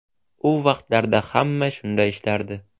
U vaqtlarda hamma shunday ishlardi.